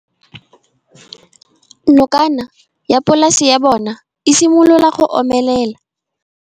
Nokana ya polase ya bona, e simolola go omelela.